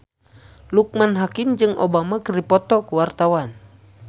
Loekman Hakim jeung Obama keur dipoto ku wartawan